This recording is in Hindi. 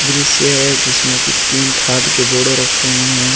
दृश्य है जिसमें की तीन खाद के बोड़े रखे हुए हैं।